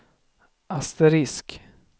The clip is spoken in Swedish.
asterisk